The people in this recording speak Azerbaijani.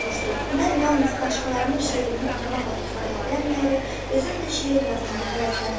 Mən yalnız başqalarının şeirini oxumaqla kifayətlənməyərək, özüm də şeir yazmağa həvəslənirəm.